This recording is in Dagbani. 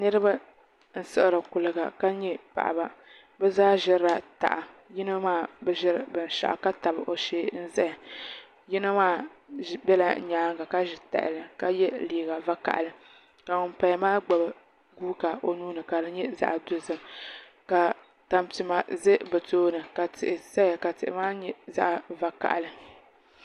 Niraba n siɣiri kuliga ka nyɛ paɣaba bi zaa ʒirila taha yino maa bi ʒiri binshaɣu ka tabi o shee n ʒɛya yino maa biɛla nyaangi ka ʒi tahali ka yɛ liiga vakaɣali ka ŋun paya maa gbubi guuka o nuuni ka di nyɛ zaɣ dozim ka tampima ʒɛ bi tooni ka tihi saya ka tihi maa nyɛ zaɣ vakaɣali